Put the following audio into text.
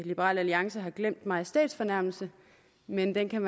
liberal alliance har glemt majestætsfornærmelse men det kan